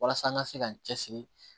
Walasa an ka se ka n cɛsiri